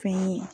Fɛn ye